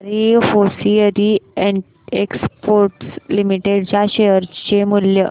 Bhandari hosiery exports limited च्या share चे मूल्य